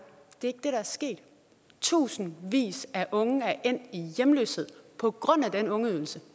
det der er sket tusindvis af unge er endt i hjemløshed på grund af den ungeydelse